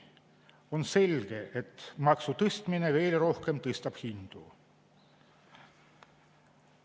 On selge, et maksu tõstmine veel rohkem tõstab hindu.